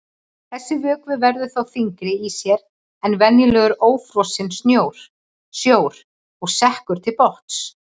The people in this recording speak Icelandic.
Þessi vökvi verður þá þyngri í sér en venjulegur ófrosinn sjór og sekkur til botns.